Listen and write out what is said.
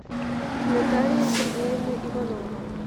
наталья сергеевна иванова